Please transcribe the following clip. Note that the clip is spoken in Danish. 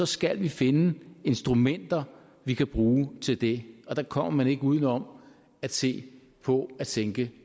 skal vi finde instrumenter vi kan bruge til det og der kommer man ikke uden om at se på at sænke